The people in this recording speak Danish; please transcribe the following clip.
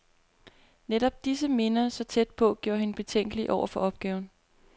Netop disse minder, så tæt på, gjorde hende betænkelig over for opgaven.